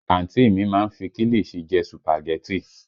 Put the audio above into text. Àǹtí mi má ń fi kilichi jẹ sùpàgẹ́tì